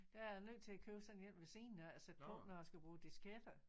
Der er jeg nødt til at købe sådan en ved siden af og sætte på når jeg skal bruge disketter